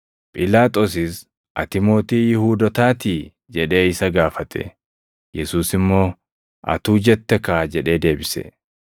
Phiilaaxoosis, “Ati mootii Yihuudootaatii?” jedhee isa gaafate. Yesuus immoo, “Atuu jette kaa!” jedhee deebise.